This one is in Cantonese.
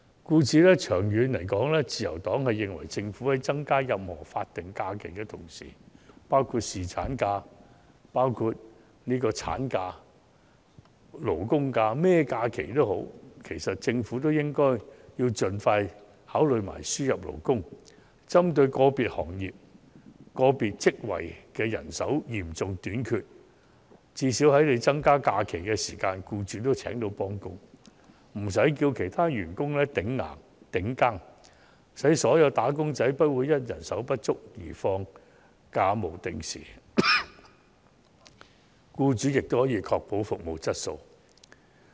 故此，長遠而言，自由黨認為政府在增加法定假日、侍產假、產假等時，必須針對個別行業或個別職位人手嚴重短缺的問題，盡快考慮輸入勞工，最少讓僱主在政府增加假期時亦能聘請替工，無需以其他現職員工頂替，從而讓所有"打工仔"不會因人手不足而需不定時放假。此外，僱主亦可以確保服務質素。